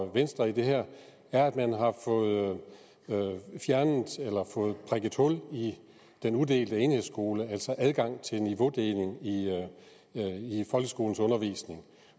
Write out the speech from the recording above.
venstre i det her er at man har fået fjernet eller fået prikket hul i den udelte enhedsskole altså at adgang til niveaudeling i folkeskolens undervisning